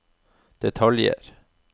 detaljer